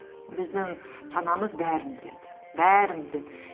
біздің санамыз бәрін біледі бәрін біледі